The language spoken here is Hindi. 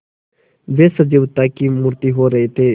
वे सजीवता की मूर्ति हो रहे थे